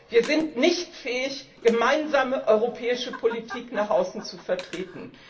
Wir sind nicht fähig, gemeinsame europäische Politik nach außen zu vertreten.